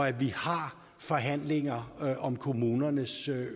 at vi har forhandlinger om kommunernes